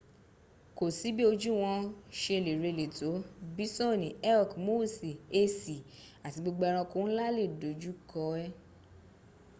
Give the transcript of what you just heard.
ko si bi oju won se le rele to bisoni elki moosi esi ati gbogbo eranko nla le doju ko en